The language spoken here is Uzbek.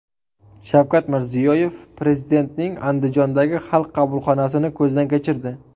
Shavkat Mirziyoyev Prezidentning Andijondagi Xalq qabulxonasini ko‘zdan kechirdi.